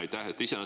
Aitäh!